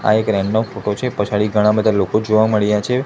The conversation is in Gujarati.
આ એક નો ફોટો છે પછાડી ઘણા બધા લોકો જોવા મળ્યા છે.